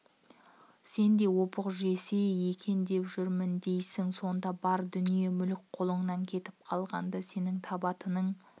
сен де опық жесе екен деп жүрмін дейсің сонда бар дүние-мүлік қолыңнан кетіп қалғанда сенің табатын